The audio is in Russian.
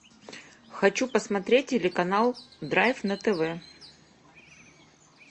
хочу посмотреть телеканал драйв на тв